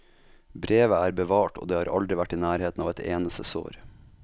Brevet er bevart og det har aldri vært i nærheten av et eneste sår.